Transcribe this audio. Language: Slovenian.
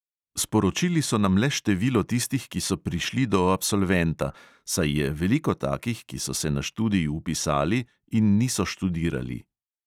Sporočili so nam le število tistih, ki so prišli do absolventa, saj je veliko takih, ki so se na študij vpisali in niso študirali.